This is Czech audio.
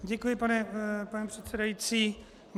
Děkuji, pane předsedající.